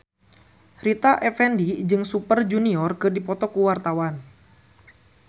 Rita Effendy jeung Super Junior keur dipoto ku wartawan